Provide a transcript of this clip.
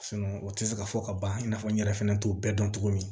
o tɛ se ka fɔ ka ban i na fɔ n yɛrɛ fɛnɛ t'o bɛɛ dɔn cogo min